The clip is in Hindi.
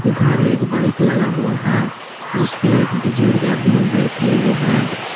इधर एक बाइक लगा हुआ है जिसपे पर एक बुजुर्ग आदमी बैठे हुए है।